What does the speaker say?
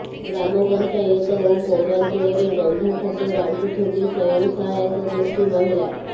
ଗ୍ରାମ ପଞ୍ଚାୟତ ଓ ପୌରାଞ୍ଚଳରେ ରନ୍ଧାଖାଦ୍ୟ ବାଣ୍ଟୁଛନ୍ତି ସ୍ୱୟଂ ସହାୟକ ଗୋଷ୍ଠୀ ମହିଳା